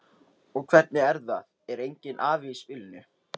Og hvernig er það, er enginn afi í spilinu?